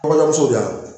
Kɔɲɔmuso de y'a ye